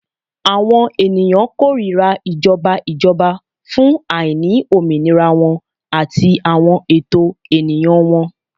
Awọn eniyan korira awọn ijọba ijọba fun aini ominira wọn ati awọn ẹtọ eniyan wọn